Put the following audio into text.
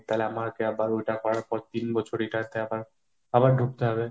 তাহলে আমাকে আবার ওটা করার পর তিন বছর এটাতে আবার, আবার ঢুকতে হবে।